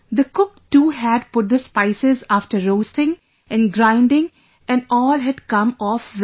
The cook too had put the spices after roasting and grinding and all had come off well